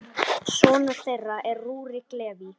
Sonur þeirra er Rúrik Leví.